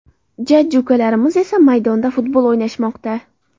Jajji ukalarimiz esa maydonda futbol o‘ynashmoqda.